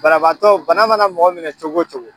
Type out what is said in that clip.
Banabatɔ, bana mana mɔgɔ minɛ cogo o cogo